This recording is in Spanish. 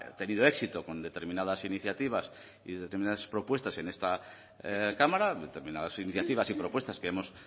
tenido éxito con determinadas iniciativas y determinadas propuestas en esta cámara determinadas iniciativas y propuestas que hemos